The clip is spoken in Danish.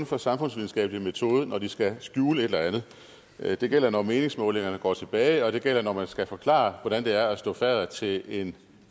for samfundsvidenskabelig metode når de skal skjule et eller andet det gælder når meningsmålingerne går tilbage og det gælder når man skal forklare hvordan det er at stå fadder til en